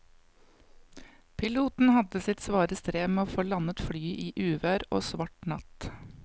Piloten hadde sitt svare strev med å få landet flyet i uvær og svart natt.